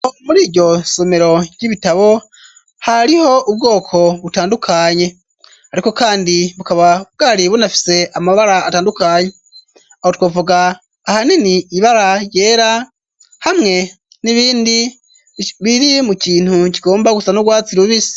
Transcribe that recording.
Muri iryo somero ry'ibitabo, hariho ubwoko butandukanye, ariko kandi bukaba bwari bunafise amabara atandukanye, aho twavuga ahanini ibara ryera, hamwe n'ibindi biri mu kintu kigomba gusa n'urwatsi rubisi.